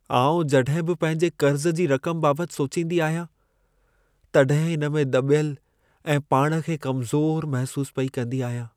आउं जॾहिं बि पंहिंजे कर्ज़ जी रक़म बाबतु सोचींदी आहियां, तॾहिं इन में दॿियल ऐं पाण खे कमज़ोरु महिसूसु पेई कंदी आहियां।